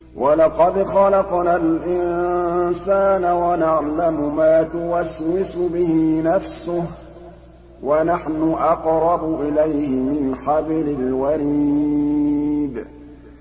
وَلَقَدْ خَلَقْنَا الْإِنسَانَ وَنَعْلَمُ مَا تُوَسْوِسُ بِهِ نَفْسُهُ ۖ وَنَحْنُ أَقْرَبُ إِلَيْهِ مِنْ حَبْلِ الْوَرِيدِ